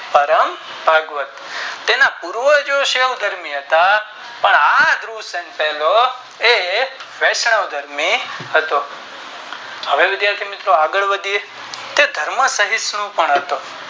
પરમ ભાગવત તેને પૂર્વજો શું બન્યા હતા એ વૈષ્ણ્વ ધર્મી હતો હવે વિધાથી મિત્રો આગળ વધીયે તેધર્મ સવિષણુ પણ હતો